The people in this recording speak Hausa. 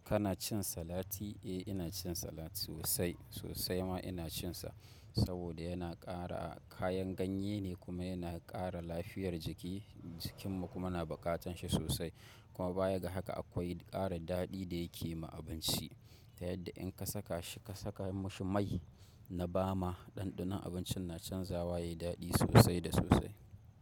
Kana cin salati? Eh ina cin salati sosai, sosai ma ina cin sa saboda yana ƙara, kayan ganye ne kuma yana ƙara lafiyar jiki, jikinmu kuma na buƙatan shi sosai. Kuma baya ga haka akwai ƙara daɗi da yake ma abinci. Ta yadda in ka saka shi ka saka mashi mai na bama, ɗanɗanon abincin na canzawa yayi daɗi sosai da sosai.